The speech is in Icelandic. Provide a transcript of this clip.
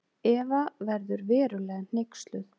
Eva verður verulega hneyksluð.